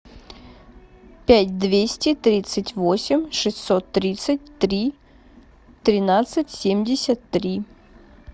пять двести тридцать восемь шестьсот тридцать три тринадцать семьдесят три